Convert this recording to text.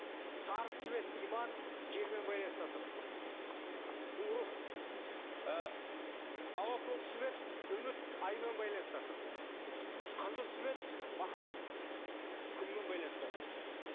сары цвет иман жермен байланыста тұр бұл рух ы ауа көк цвет үміт аймен байланыста тұр қызыл цвет махаббат күнмен байланыста тұр